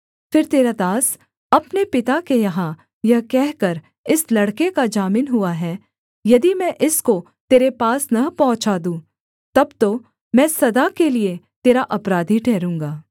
फिर तेरा दास अपने पिता के यहाँ यह कहकर इस लड़के का जामिन हुआ है यदि मैं इसको तेरे पास न पहुँचा दूँ तब तो मैं सदा के लिये तेरा अपराधी ठहरूँगा